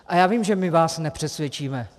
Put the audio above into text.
A já vím, že my vás nepřesvědčíme.